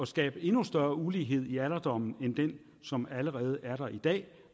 skabe endnu større ulighed i alderdommen end den som allerede er der i dag